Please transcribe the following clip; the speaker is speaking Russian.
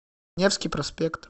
невский проспект